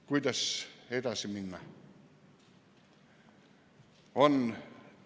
Kuidas edasi minna?